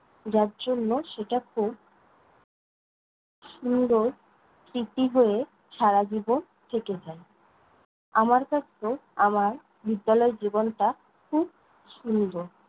যার জন্য সেটা খুব সুন্দর স্মৃতি হয়ে সারাজীবন থেকে যায়। আমার কাছেও আমার বিদ্যালয় জীবনটা খুব সুন্দর।